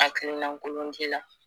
Akilinan kolon di la